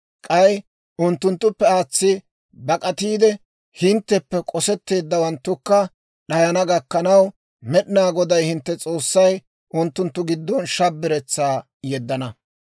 K'ay unttunttuppe aatsiide bak'atiide, hintteppe k'osetteedawanttukka d'ayana gakkanaw, Med'inaa Goday hintte S'oossay unttunttu giddon shabiretsaa yeddana.